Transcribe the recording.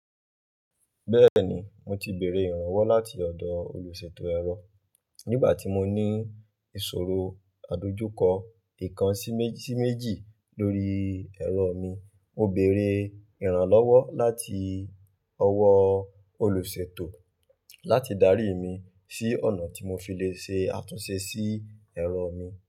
Bẹ́ẹ̀ni, mo ti bèrè ìrànlọ́wọ́ láti ọ̀dọ̀ olùṣètò ẹ̀rọ. Nígbà tí mo ní ìṣòro àdojúkọ ìkan sí méjì lórí ẹ̀rọ mi, mo bèrè ìrànlọ́wọ́ láti ọwọ́ olùṣètò láti darí mi sí ọ̀nà tí mo fi le ṣe àtúnṣe sí ẹ̀rọ mi.